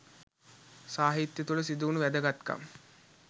සාහිත්‍ය තුළ සිදුවුණු වැදගත්කම්